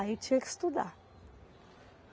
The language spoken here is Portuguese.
Aí eu tinha que estudar.